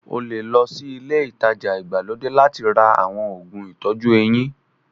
O lè lọ sí ilé-ìtajà ìgbàlódé láti ra àwọn òògùn ìtọ́jú eyín.